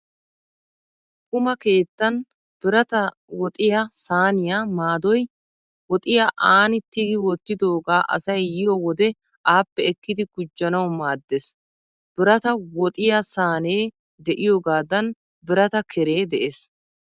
Quma keettan biratta, woxiyaa Sahaniyaa maadoy woxiya aani tigi wottidoogaa asay yiyo wode appe ekkidi gujjanawu maaddees. Birata, woxiyaa Sahnee de'iyoogaadan birata keree de'ees.